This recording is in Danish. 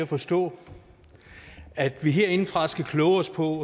at forstå at vi herindefra skal kloge os på